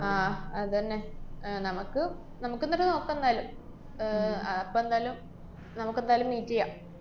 ആഹ് അതന്നെ. ആഹ് നമക്ക് നമക്കെന്ന്ട്ട് നോക്കാന്നായാലും. ആഹ് അപ്പ എന്തായാലും നമുക്കെന്തായാലും meet ചെയ്യാം.